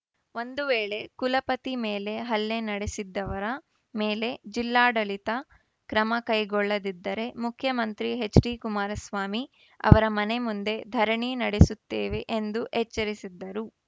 ಒಂದು ವೇಳೆ ಕುಲಪತಿ ಮೇಲೆ ಹಲ್ಲೆ ನಡೆಸಿದ್ದವರ ಮೇಲೆ ಜಿಲ್ಲಾಡಳಿತ ಕ್ರಮ ಕೈಗೊಳ್ಳದಿದ್ದರೆ ಮುಖ್ಯಮಂತ್ರಿ ಎಚ್‌ಡಿಕುಮಾರಸ್ವಾಮಿ ಅವರ ಮನೆ ಮುಂದೆ ಧರಣಿ ನಡೆಸುತ್ತೇವೆ ಎಂದು ಎಚ್ಚರಿಸಿದ್ದರು